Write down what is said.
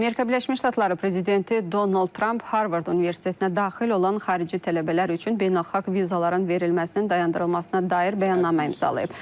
Amerika Birləşmiş Ştatları prezidenti Donald Tramp Harvard Universitetinə daxil olan xarici tələbələr üçün beynəlxalq vizaların verilməsinin dayandırılmasına dair bəyannamə imzalayıb.